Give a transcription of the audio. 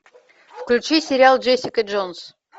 включи сериал джессика джонс